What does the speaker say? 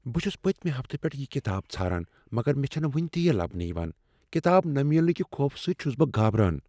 بہٕ چھس پٔتمہ ہفتہٕ پیٚٹھٕ یہ کتاب ژھاران مگر مےٚ چھنہٕ وٕنہ تہ یہ لبنہٕ یوان۔ کتاب نہٕ ملنہٕ کہ خوفہٕ سۭتۍ چھس بہٕ گابران۔